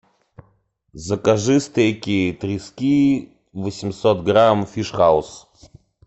закажи стейки трески восемьсот грамм фиш хауз